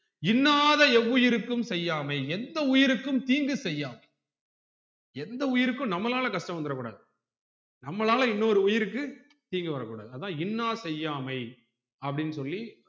இன்னாத எவ்வுயிருக்கும் செய்யாமை எந்த உயிருக்கும் தீங்கு செய்யாமை எந்த உயிருக்கும் நம்மளால கஷ்டம் வந்துற கூடாது நம்மளால இன்னொரு உயிருக்கு தீங்கு வரக்கூடாது அதான் இன்னா செய்யாமை அப்புடின்னு சொல்லி